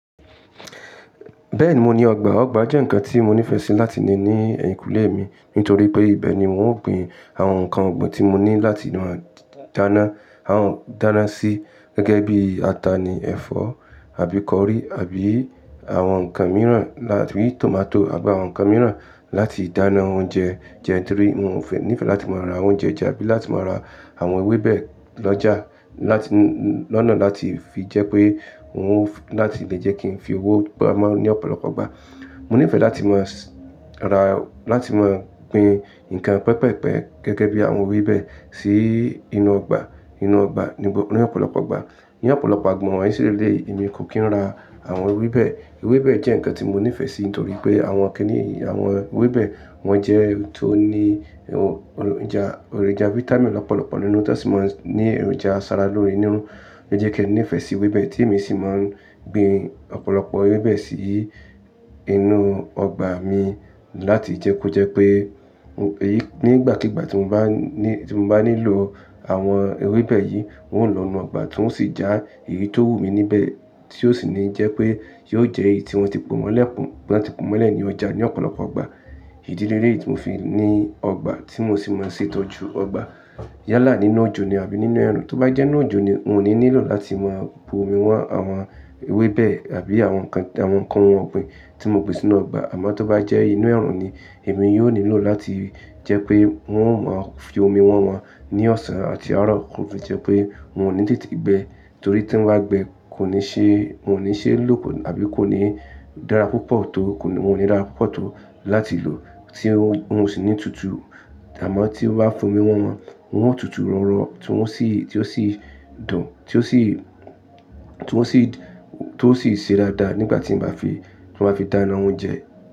Bẹ́ẹ̀ni mo ní ọgbà, ọgbà jẹ́ ǹkan tí mo nífẹ̀ẹ́ sí láti lè ní ẹ̀yìnkùlé mi nítorí pé ìbẹ̀ ni wọn ó gbin àwọn ǹkan ọ̀gbìn tí mo ní láti máa dáná, à dáná sí gẹ́gẹ́ bí ata ni ẹ̀fọ́ àbí kọrí àbí àwọn ǹkan mìíràn lá-- bí i tòmátò àbí àwọn ǹkan mìíràn láti dáná oúnjẹ jẹ nítorí wọn ò níìfẹ̀ láti máa ra oúnjẹ jẹ abí láti máa ra àwọn ewébẹ̀ lọ́jà láti n-- lọ́nà láti fi jẹ́ pé wọn ó láti lè jẹ́ kí n fi owó pamọ́ ní ọ̀pọ̀lọpọ̀ ìgbà. Mo nífẹ̀ẹ́ láti máa s-- ra láti máa gbin ǹkan pẹpẹ̀pẹ̀ gẹ́gẹ́ bí àwọn ewébẹ̀ sí inú ọgbà, inú ọgbà nígb-- ní ọ̀pọ̀lọpọ̀ ìgbà. Ní ọ̀pọ̀lọpọ̀ agbọn wọ́n sì lé emi kò kí ń ra àwọn ewébẹ̀. Ewébẹ̀ jẹ́ ǹkan tí mo nífẹ̀ẹ́ sí nítorí pé àwọn kí ni àwọn ewébẹ̀ wọ́n jẹ́ ohun tó ní olo-ja, èròjà fáítámì lọ́pọ̀lọpọ̀ nínú tán sì máa ń ní èròjà asara lóore nínú. Ó jẹ́ kí n nífẹ̀ẹ́ sí ewébẹ̀ tí èmi sì máa ń gbin ọ̀pọ̀lọpọ̀ ewébẹ̀ sí inú ọgbà mi láti jẹ́ kó jẹ́ pé o-- nígbàkígbà tí mo bá ní, tí mo bá nílò àwọn ewébẹ̀ yìí wọn ó lọ̀ inú ọgbà ti wọn o sì já èyí tó wù mí níbẹ̀ tí ó sì ní jẹ́ pé yóò jẹ́ èyí tí wọ́n ti po mọ́lẹ̀, tí wọ́n ti po mọ́lẹ̀ ní ọjà ní ọ̀pọ̀lọpọ̀ ìgbà. Ìdí lelèyí tí mo fi ní ọgbà tí mo sì máa ń ṣètọ́jú ọgbà. Yálà nínú òjò ni àbí nínú ẹ̀rù, tó bá jẹ́ nínú òjò ni wọ́n ò ní nílò láti máa bu omi wọ́n àwọn ewébẹ̀ àbí àwọn ǹkan, àwọn ǹkan ohun ọ̀gbìn tí mo gbin sínú ọgbà àmọ́ tó bá jẹ́ inú ẹ̀rù ni èmi yóò nílò láti jẹ́ pé wọn ò má fi omi wọn wọn ní ọ̀sán àti àárọ̀ kó fi jẹ́ pé wọn ò ní tètè gbẹ torí tí wọ́n bá gbẹ kò ní ṣe, wọn ò ní ṣe lóòpọ̀ àbí kò ní dára púpọ̀ tó kò ní, wọn ò ní dára púpọ̀ tó láti lò tí wọn ò sì ní tutù àmọ́ tí wọ́n bá fomi wọn wọn, wọn yóò tutù rọ̀rọ̀ tí wọn sì, tí ó sì dùn, tí ó sì, tí wọn sì, tó sì ṣe dáadáa nígbà tí ń bá fi, tí wọ́n bá fi dáná oúnjẹ.